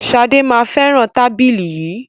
Ṣadé máa fẹràn tábìlì yìí.